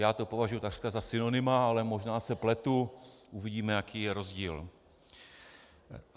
Já to považuji takřka za synonyma, ale možná se pletu, uvidíme, jaký je rozdíl.